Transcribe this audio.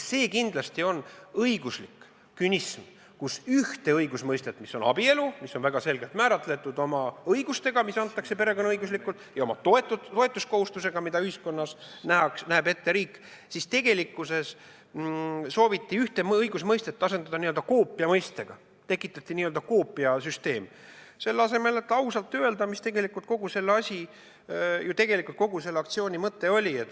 See on kindlasti õiguslik künism, kui ühte õigusmõistet, mis on abielu – see on väga selgelt määratletud, oma õigustega, mis antakse perekonnaõiguslikult, ja oma toetuskohustustega, mida ühiskonnas näeb ette riik –, sooviti asendada n-ö koopiamõistega, tekitati n-ö koopiasüsteem, selle asemel, et ausalt öelda, mis tegelikult kogu selle asja ja kogu selle aktsiooni mõte oli.